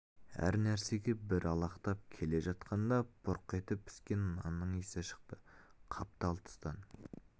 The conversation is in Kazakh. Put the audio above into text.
әр нәрсеге бір алақтап келе жатқанда бұрқ етіп піскен нанның иісі шықты қаптал тұстан